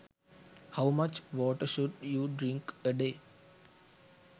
how much water should you drink a day